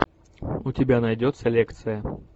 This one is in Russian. у тебя найдется лекция